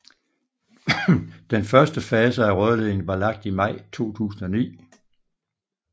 Den første fase af rørledningen var lagt i maj 2009